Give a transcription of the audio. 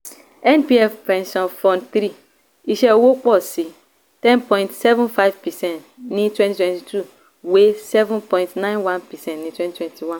npf pension fund three iṣẹ́ owó pọ̀ sí ten point seven five percent ní twenty twenty two wé seven point nine one percent ní twenty twenty one.